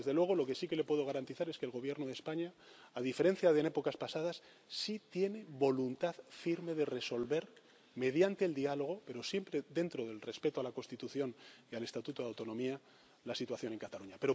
Y, desde luego, lo que sí que le puedo garantizar es que el Gobierno de España, a diferencia de en épocas pasadas, sí tiene voluntad firme de resolver mediante el diálogo, pero siempre dentro del respeto a la Constitución y al Estatuto de Autonomía, la situación en Cataluña.